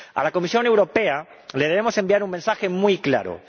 A la Comisión Europea le debemos enviar un mensaje muy claro.